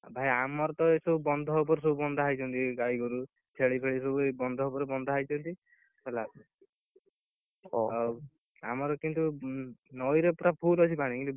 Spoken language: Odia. ଭାଇ ଆମର ତ ଏ ସବୁ ବନ୍ଧ ଉପରେ ସବୁ ବନ୍ଧା ହେଇଛନ୍ତି ଗାଈଗୋରୁ, ଛେଳି ଫେଳି ସବୁ ଏଇ ବନ୍ଧ ଉପରେ ବନ୍ଧା ହେଇଛନ୍ତି। ହେଲା ଆଉ ଆମର ଏଠି ସବୁ ନଈରେ ସବୁ full ଅଛି ପାଣି କିନ୍ତୁ,